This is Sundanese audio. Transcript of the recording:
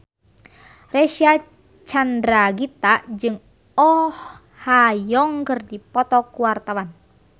Reysa Chandragitta jeung Oh Ha Young keur dipoto ku wartawan